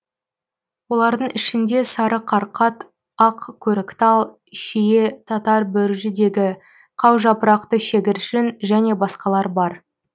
олардың ішінде сары қарқат ақ көріктал шие татар бөріжидегі қаужапырақты шегіршін және басқалар бар